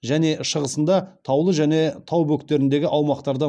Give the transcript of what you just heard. және шығысында таулы және тау бөктеріндегі аумақтарда